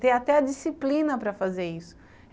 Ter até a disciplina para fazer isso.